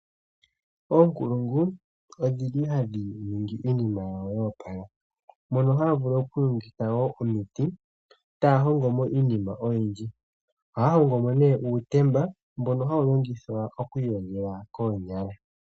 Oonkulungu odhili hadhi ningi iinima yawo yoopala. Mono haya vulu oku longitha wo omiti taya hongo mo iinima oyindji ohaya hongo mo nee uutemba mbono hawu longithwa oku iyogela koonyala.